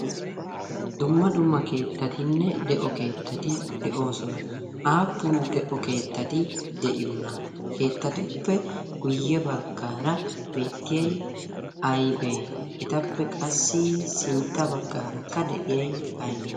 dumma dumma keettatinne de'o keettati de'oosona aappun de'o keettati de'iyoona keettatuppe guyye baggaara beettiyai aibee etappe qassi sintta baggaarakka de'iyay aybee